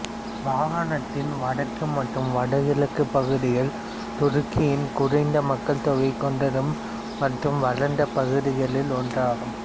மாகாணத்தின் வடக்கு மற்றும் வடகிழக்கு பகுதிகள் துருக்கியின் குறைந்த மக்கள் தொகை கொண்டதும் மற்றும் வளர்ந்த பகுதிகளில் ஒன்றாகும்